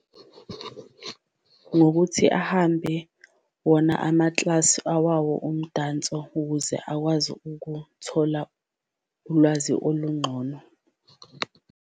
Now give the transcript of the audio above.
Ngokuthi ahambe wona amaklasi awawo umdanso ukuze akwazi ukuthola ulwazi oluncono.